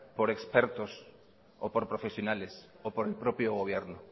por expertos o por profesionales o por el propio gobierno